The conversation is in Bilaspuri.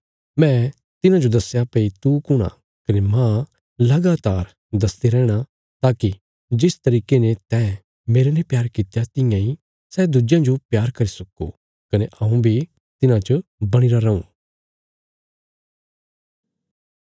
मैं तिन्हांजो दस्या भई तू कुण आ कने मांह लगातार दसदे रैहणा ताकि जिस तरिके ने तैं मेरने प्यार कित्या तियां इ सै दुज्यां जो प्यार करी सक्को कने हऊँ बी तिन्हांच बणीरा रऊँ